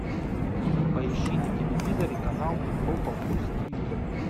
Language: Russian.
поищи на телевизоре канал европа плюс тв